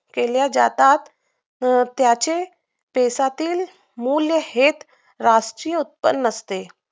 केल्या जातात पण त्याचे देशातील मूल्य हेच राष्ट्रीय उत्पन्न असते